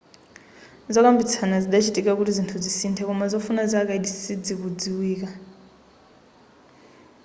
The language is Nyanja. zokambitsana zidachitika kuti zinthu zisinthe koma zofuna za kaidi sidzikudziwika